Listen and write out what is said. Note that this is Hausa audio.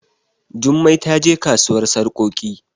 Jummai ta je kasuwar sarkoki